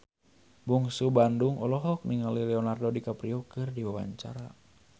Bungsu Bandung olohok ningali Leonardo DiCaprio keur diwawancara